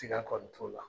Tiga kɔni t'o la